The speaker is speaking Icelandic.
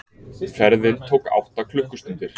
Ferðin tók átta klukkustundir.